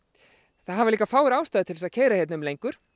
það hafa líka fáir ástæðu til að keyra hér um lengur